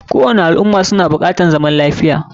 Kowani al umma suna bukatar zaman lafiya